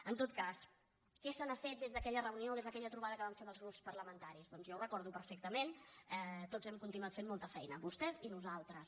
en tot cas què se n’ha fet des d’aquella reunió des d’aquella trobada que vam fer amb els grups parlamentaris doncs jo ho recordo perfectament tots hem continuat fent molta feina vostès i nosaltres